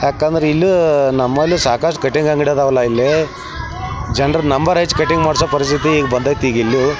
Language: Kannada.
ಯಾಕಂದ್ರ ಇಲ್ಲ್ಯೂ ನಮ್ಮಲ್ಲ್ಯೂ ಸಾಕಷ್ಟ ಕಟ್ಟಿಂಗ್ ಅಂಗಡಿ ಈಡವಲ್ಲಾ ಇಲ್ಲೆ. ಜನರು ನಂಬರ್ ಹೆಚ್ಚು ಕಟ್ಟಿಂಗ್ ಮಾಡೋ ಪರಿಸ್ಥಿತಿ ಬಂದೈತಿ ಈಗ್ ಇಲ್ಲ್ಯೂ.